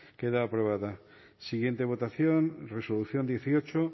queda aprobada siguiente votación resolución dieciocho